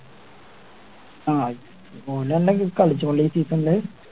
ആഹ് ഓല് ഒണ്ടെങ്കി കളിച്ചോളും ഈ season ല്